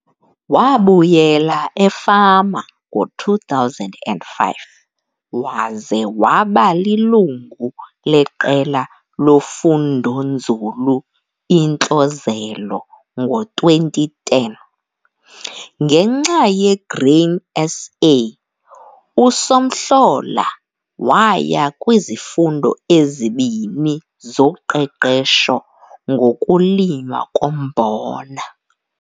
Wabuyela efama ngo-2005 waze waba lilungu leQela loFundonzulu iNtlozelo ngo-2010. Ngenxa yeGrain SA, uSomhlola waya kwizifundo ezibini zoqeqesho ngokulinywa kombona.